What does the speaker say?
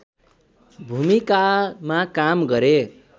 भुमिकामा काम गरे